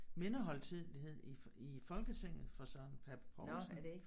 Mindehøjtidelighed i i Folketinget for Søren Pape Poulsen